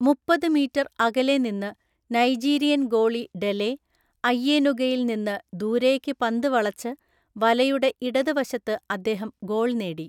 മുപ്പത് മീറ്റർ അകലെ നിന്ന് നൈജീരിയൻ ഗോളി ഡെലെ, ഐയെനുഗയിൽ നിന്ന് ദൂരേക്ക്‌ പന്ത് വളച്ച്, വലയുടെ ഇടത് വശത്ത് അദ്ദേഹം ഗോൾ നേടി.